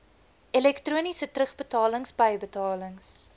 elektroniese terugbetalings bybetalings